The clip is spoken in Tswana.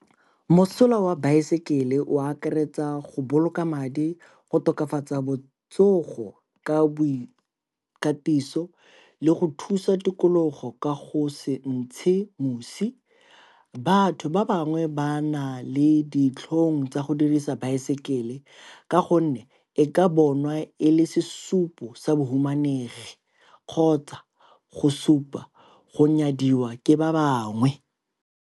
Mosola wa baesekele o akaretsa go boloka madi, go tokafatsa botsogo ka boikatiso le go thusa tikologo ka go se ntshe mosi. Batho ba bangwe ba na le ditlhong tsa go dirisa baesekele ka gonne e ka bonwa e le sesupo sa bahumanegi kgotsa go supa gore nyadiwa ke ba bangwe.